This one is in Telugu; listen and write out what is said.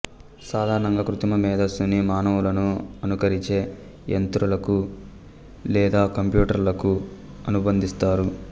సాధారణంగా కృత్రిమ మేధస్సుని మానవులను అనుకరిచే యంత్రాలకు లేదా కంప్యూటర్లు కు అనుబంధిస్తారు